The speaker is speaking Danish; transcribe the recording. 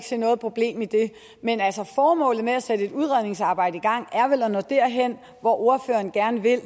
se noget problem i det men formålet med at sætte et udredningsarbejde i gang er vel at nå derhen hvor ordføreren gerne vil